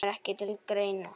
Kemur ekki til greina